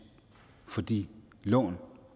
for de lån